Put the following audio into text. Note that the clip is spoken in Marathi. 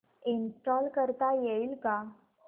इंस्टॉल करता येईल का